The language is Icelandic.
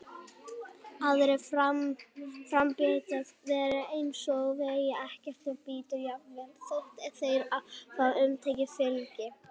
Aðrir frambjóðendur bera hins vegar ekkert úr býtum, jafnvel þótt þeir fái umtalsvert fylgi.